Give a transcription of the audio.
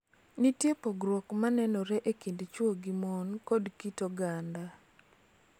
Nitie pogruok ma nenore e kind chwo gi mon kod kit oganda.